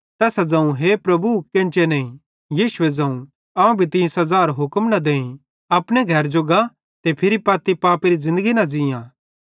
तैसां ज़ोवं हे प्रभु केन्चे नईं यीशुए ज़ोवं अवं भी तीं सज़ारो हुक्म न देईं अपने घरे जो गा ते फिरी पत्ती पापेरी न ज़िन्दगी ज़ीयां